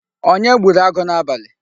Onye gburu agụ n'abali?